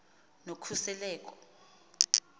nokhuseleko